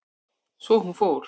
Svo hún fór.